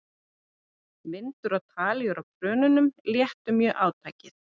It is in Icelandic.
Vindur og talíur á krönunum léttu mjög átakið.